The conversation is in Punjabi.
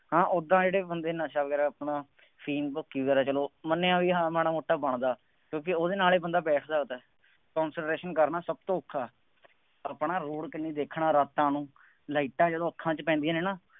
ਹਾਂ ਉਦਾਂ ਜਿਹੜੇ ਬੰਦੇ ਨਸ਼ਾ ਵਗੈਰਾ ਬਣਾਉਣ, ਅਫੀਮ ਭੁੱਕੀ ਵਗੈਰਾ ਚੱਲੋ ਮੰਨਿਆ ਬਈ ਹਾਂ ਮਾੜਾ ਮੋਟਾ ਬਣਦਾ, ਕਿਉਂਕਿ ਉਹਦੇ ਨਾਲ ਹੀ ਬੰਦਾ ਬੈਠ ਸਕਦਾ। concentration ਕਰਨਾ ਸਭ ਤੋਂ ਔਖਾ, ਆਪਣਾ ਰੂਟ clear ਦੇਖਣਾ ਰਾਤਾਂ ਨੂੰ, ਲਾਈਟਾਂ ਜਦੋਂ ਅੱਖਾਂ ਚ ਪੈਂਦੀਆਂ ਨੇ,